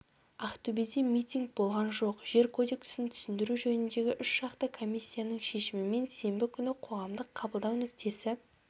ақтөбеде митинг болған жоқ жер кодексін түсіндіру жөніндегі үшжақты комиссияның шешімімен сенбі күні қоғамдық қабылдау нүктесі